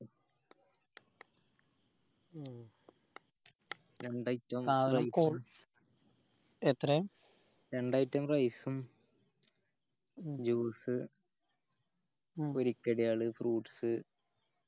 രണ്ട് item എത്രയാ രണ്ട് item rice ഉം ഉം juice ഉം പൊരി കടികൾ fruits